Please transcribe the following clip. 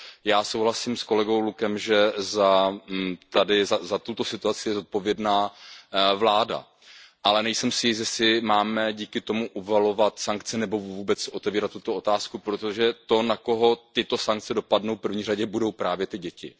Já souhlasím s kolegou Luckem, že za tuto situaci je zodpovědná vláda, ale nejsem si jist, jestli máme díky tomu uvalovat sankce nebo vůbec otevírat tuto otázku, protože to, na koho tyto sankce dopadnou, v první řadě budou právě ty děti.